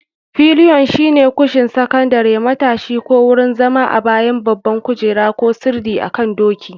Pilion shine kushin sakandare, matashi, ko wurin zama a bayan babban kujera ko sirdi akan doki.